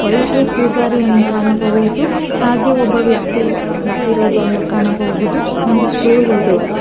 ಒಳಗೆ ಪೂಜಾರಿಯನ್ನು ಕಾಣಬಹುದು ಹಾಗೆ ಒಬ್ಬ ವ್ಯಕ್ತಿ ನಿಂತಿರೋದನ್ನೂ ಕಾಣಬಹುದು ಒಂದು ಸ್ಟೂಲ್ ಇದೆ.